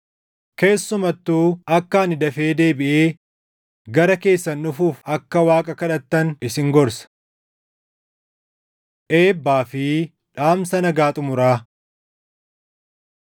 Keessumattuu akka ani dafee deebiʼee gara keessan dhufuuf akka Waaqa kadhattan isin gorsa. Eebbaa fi Dhaamsa Nagaa Xumuraa